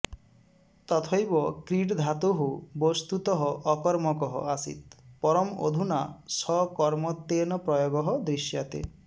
तथैव क्रीड् धातुः वस्तुतः अकर्मकः आसीत् परम् अधुना सकर्मत्वेन प्रयोगः दृश्यते